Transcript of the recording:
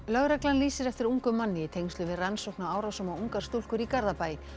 lögreglan lýsir eftir ungum manni í tengslum við rannsókn á árásum á ungar stúlkur í Garðabæ